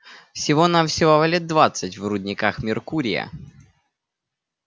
всего-навсего лет двадцать в рудниках меркурия